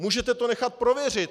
Můžete to nechat prověřit!